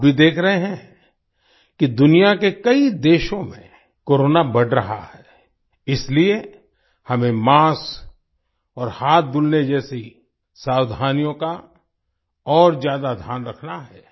आप भी देख रहे हैं कि दुनिया के कई देशों में कोरोना बढ़ रहा है इसलिए हमें मास्क और हाथ धुलने जैसी सावधानियों का और ज्यादा ध्यान रखना है